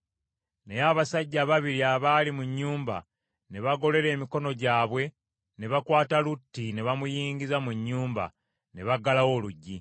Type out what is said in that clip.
Naye abasajja ababiri abaali mu nnyumba ne bagolola emikono gyabwe ne bakwata Lutti ne bamuyingiza mu nnyumba ne baggalawo oluggi.